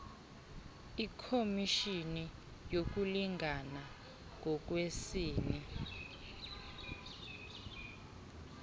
ikhomishini yokulingana ngokwesini